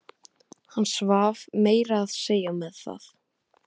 Hann svaf meira að segja með það.